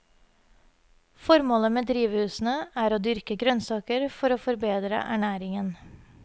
Formålet med drivhusene er å dyrke grønnsaker for å forbedre ernæringen.